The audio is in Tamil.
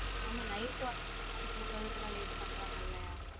ஆமா night வந்து தூங்குரதுகுலம் late பன்றங்கலைய